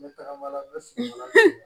N bɛ tagabaga sun la